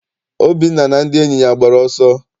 Obinna na ndị enyi ya agbara ọsọ?